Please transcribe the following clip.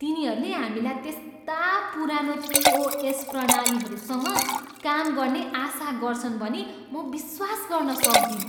तिनीहरूले हामीलाई त्यस्ता पुरानो पिओएस प्रणालीहरूसँग काम गर्ने आशा गर्छन् भनी म विश्वास गर्न सक्दिन।